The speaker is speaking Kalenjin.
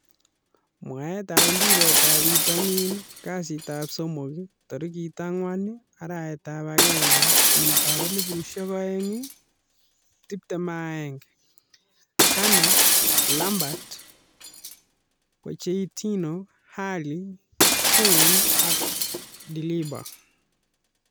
Mwaet ap mpiret ap pitonin. Kasitap somok 04.01.2021: Kane, Lampard, Pochettino, Alli, Kean, Dybala